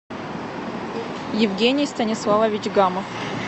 евгений станиславович гамов